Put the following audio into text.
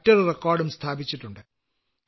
മറ്റൊരു റിക്കാർഡും സ്ഥാപിച്ചിട്ടുണ്ട്